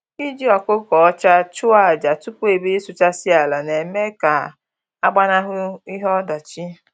Iji ọkụkọ ọcha chụọ aja tupu e bido ịsụchasị ala na-eme ka a gbanahụ ihe ọdachi